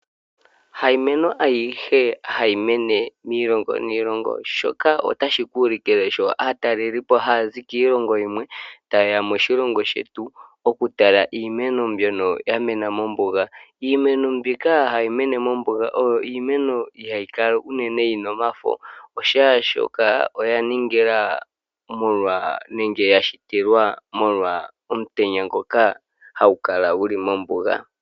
Ha Iimeno ayihe hayi mene miilongo niilongo shoka ota shi ku ulikile sho aatalelipo haya zi kiilongo yimwe ta yeya moshilongo shetu oku tala iimeno mbyono yamene mOmbuga. Iimeno mbika ha yimene mOmbuga oyo iimeno ihaa yi kala unene yina omafo oshaa shoka oyaningila molwa nenge yashitilwa molwa omutenya ngoka ha gukala guli mombuga.